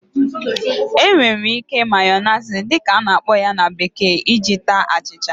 E nwere ike"Mayonnaise" dị ka a na-akpọ ya na bekee iji taa achịcha